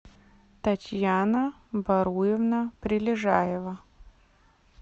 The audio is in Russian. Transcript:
татьяна варуевна прилежаева